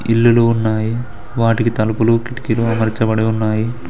ఇల్లులు ఉన్నాయి వాటికి తలుపులు కిటికీలు అమర్చబడి ఉన్నాయి.